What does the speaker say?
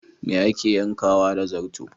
Me ake yankawa da zarto?